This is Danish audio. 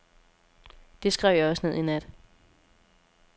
Det skrev jeg også ned i nat.